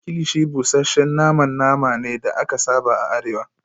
kilichi busasshen naman nama ne da aka saba a arewa